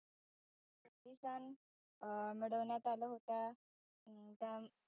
अं मडवण्यात आल्या होत्या अं